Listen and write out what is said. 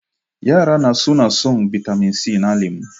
Yara na suna son bitamin c na lemu